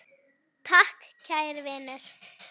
Takk kæri vinur.